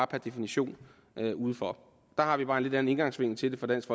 per definition udenfor der har vi bare en lidt anden indgangsvinkel til det fra dansk